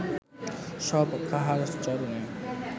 সব কাহার চরণে